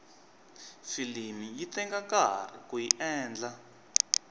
filimi yi teka nkarhi kuyi endla